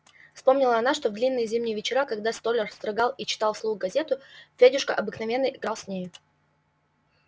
вспомнила она что в длинные зимние вечера когда столяр строгал и читал вслух газету федюшка обыкновенно играл с нею